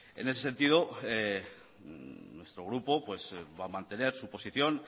en ese sentido nuestro grupo va a mantener su posición